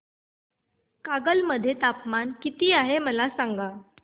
कागल मध्ये तापमान किती आहे मला सांगा